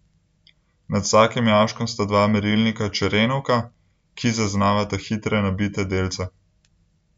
Nad vsakim jaškom sta dva merilnika Čerenkova, ki zaznavata hitre nabite delce.